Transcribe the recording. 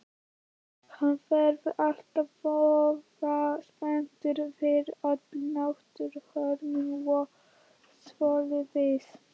Hann verður alltaf voða spenntur yfir öllum náttúruhamförum og svoleiðis.